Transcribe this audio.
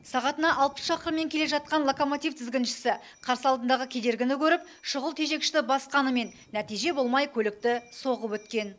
сағатына алпыс шақырыммен келе жатқан локомотив тізгіншісі қарсы алдындағы кедергіні көріп шұғыл тежегішті басқанымен нәтиже болмай көлікті соғып өткен